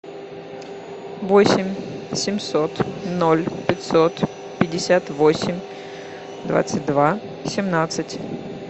восемь семьсот ноль пятьсот пятьдесят восемь двадцать два семнадцать